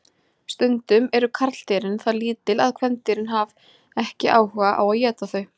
Stundum eru karldýrin það lítil að kvendýrin haf ekki áhuga á að éta þau.